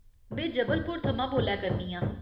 में जबलपुर थमां बोल्लै करनी आं।